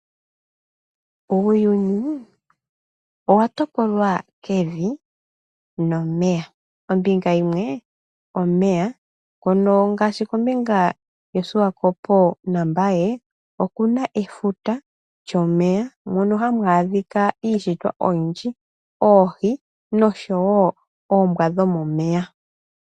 Uuyuni owa topolwa kevi nomeya. Ombinga yimwe omeya, ngaashi kombinga yaSwakopo naMbaye oku na efuta lyomeya mono haku adhika iishitwa oyindji; oohi noshowo oombwa dhomomeya.